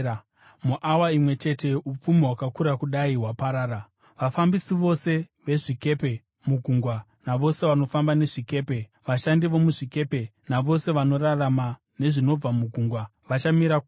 Muawa imwe chete upfumi hwakakura kudai hwaparara!’ “Vafambisi vose vezvikepe mugungwa, navose vanofamba nezvikepe, vashandi vomuzvikepe navose vanorarama nezvinobva mugungwa, vachamira kure.